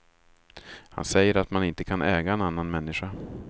Han säger att man inte kan äga en annan människa.